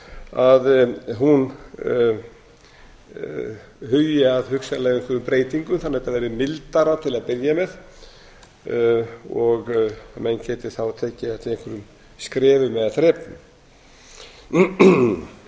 að hún hugi að hugsanlega einhverjum breytingum þannig að þetta verði mildara til að byrja með og menn geti þá tekið þetta í einhverjum skrefum eða þrepum ég